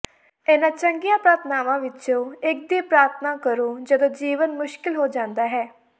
ਇਨ੍ਹਾਂ ਚੰਗੀਆਂ ਪ੍ਰਾਰਥਨਾਵਾਂ ਵਿਚੋਂ ਇੱਕ ਦੀ ਪ੍ਰਾਰਥਨਾ ਕਰੋ ਜਦੋਂ ਜੀਵਨ ਮੁਸ਼ਕਿਲ ਹੋ ਜਾਂਦਾ ਹੈ